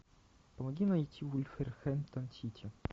помоги найти вулверхэмптон сити